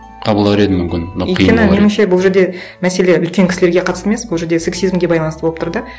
қабылдар едім мүмкін меніңше бұл жерде мәселе үлкен кісілерге қатысты емес бұл жерде сексизмге байланысты болып тұр да